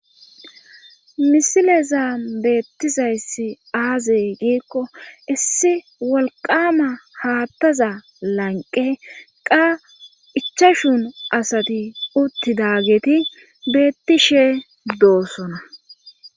Misileza beettizayssi aazey giikko issi wolqama haattaza lanqe qa ichashun asati uttidageti beetti shee doossona.